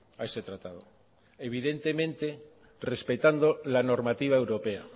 a ese tratado evidentemente respetando la normativa europea